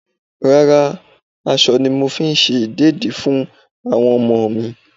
Rárá, aṣọ ni mo fi ṣe ìdẹ̀dí fún àwọn ọmọ mi.